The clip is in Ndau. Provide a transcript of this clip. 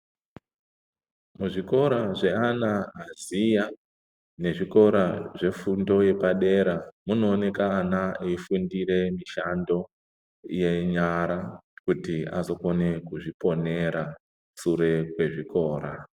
Muzvikora zveana aziya nezvikora zvefundo yepadera munooneka ana eifundire mishando yenyara kuti azokone kuzviponera sure kwezvikora.